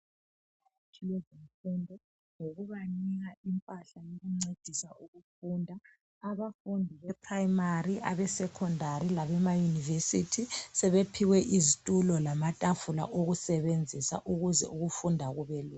Ngokubanika impahla yokuncedisa ukufunda. Abafundi beprimary abesecondary labama university, sebephiwe izitulo lamatafula, okusebenzisa ukuze ukufunda kubelula.